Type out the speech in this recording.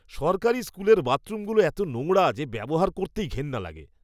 সরকারি স্কুলের বাথরুমগুলো এত নোংরা যে ব্যবহার করতেই ঘেন্না লাগে।